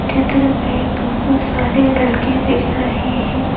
चित्र में बहुत सारे लड़के दिख रहे हैं।